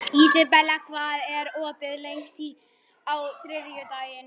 Ísabel, hvað er opið lengi á þriðjudaginn?